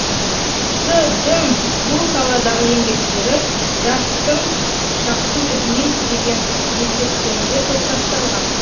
с дің бұл саладағы еңбектері жастық шақтың ізімен деген естеліктерінде топтастырылған